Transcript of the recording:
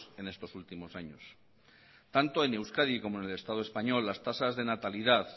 en estos últimos años tanto en euskadi como en el estado español las tasas de natalidad